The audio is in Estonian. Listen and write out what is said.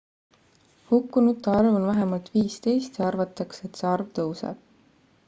hukkunute arv on vähemalt 15 ja arvatakse et see arv tõuseb